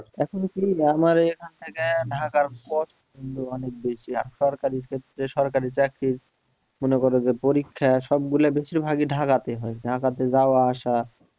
অনেক বেশি আর সরকারি ক্ষেত্রে সরকারি চাকরি মনে করো যে পরীক্ষা সব গুলা বেশির ভাগই ঢাকাতে হয় ঢাকাতে যাওয়া আসা